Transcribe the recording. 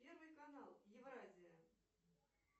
первый канал евразия